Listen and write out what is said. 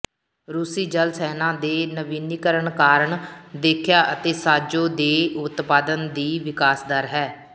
ਰੂਸੀ ਜਲ ਸੈਨਾ ਦੇ ਨਵੀਨੀਕਰਨ ਕਾਰਨ ਦੇਖਿਆ ਅਤੇ ਸਾਜ਼ੋ ਦੇ ਉਤਪਾਦਨ ਦੀ ਵਿਕਾਸ ਦਰ ਹੈ